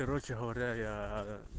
короче говоря я